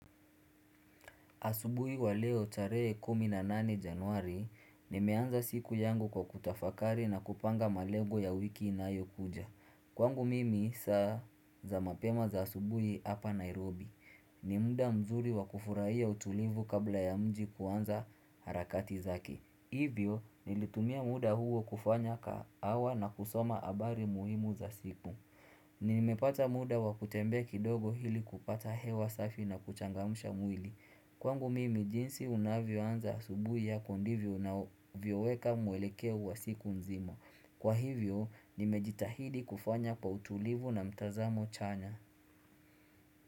Asubuhi wa leo taree kumi na nane januari, nimeanza siku yangu kwa kutafakari na kupanga malego ya wiki inayo kuja. Kwangu mimi saa za mapema za asubuhi hapa Nairobi. Nimuda mzuri wa kufurahia utulivu kabla ya mji kuanza harakati zake. Hivyo, nilitumia muda huo kufanya kaa wa na kusoma abari muhimu za siku. Ninimepata muda wa kutembe kidogo hili kupata hewa safi na kuchangamusha mwili. Kwangu mimi jinsi unavyo anza asubuhi yako ndivyo navyoweka muwelekeo uwasiku nzima. Kwa hivyo, nimejitahidi kufanya kwa utulivu na mtazamo chanya.